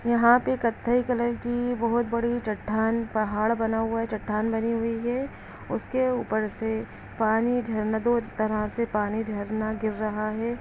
यहाँ पे कथाई कलर की बहुत बड़ी चठान पहाड़ बना हुआ है चटान बनी हुई है उसके ऊपर से पानी झरना इस तरह से पानी झरना गिर रहा हैं ।